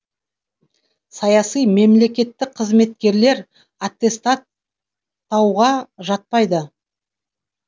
саяси мемлекеттік қызметкерлер аттестаттауға жатпайды